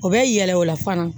O bɛ yɛlɛ o la fana